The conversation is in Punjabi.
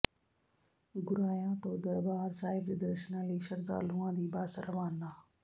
ਗੁਰਾਇਆ ਤੋ ਦਰਬਾਰ ਸਾਹਿਬ ਦੇ ਦਰਸ਼ਨਾਂ ਲਈ ਸ਼ਰਧਾਲੂਆ ਦੀ ਬੱਸ ਰਵਾਨਾ